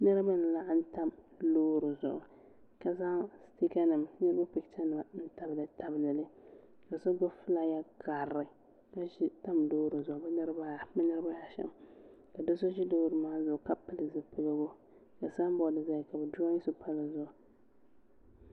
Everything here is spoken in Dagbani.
niriba n laɣim lori zuɣ' ka zaŋ niriba pɛchɛnim tabiltabili ka sogbabi ƒɔlaaya karili ka so tam lori zuɣ' bɛ niribaashɛm ka do so ʒɛ lori maa zuɣ' ka pɛli zibiligu ka sanibori zaya ka be doroyi so pa di zuɣ'